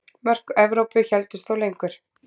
Mörk Evrópu héldust þó lengur.